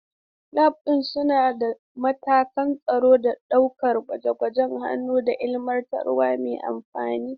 Labs suna da matakan tsaro don sauƙaƙe gwaje-gwajen hannu da ilmantarwa mai amfani.